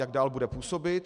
Jak dál bude působit.